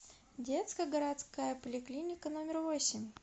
детская городская поликлиника номер восемь